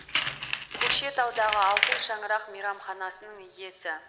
көкшетаудағы алтын шаңырақ мейрамханасының иесі